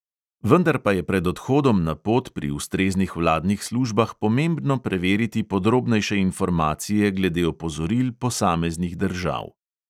Vendar pa je pred odhodom na pot pri ustreznih vladnih službah pomembno preveriti podrobnejše informacije glede opozoril posameznih držav.